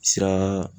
Sira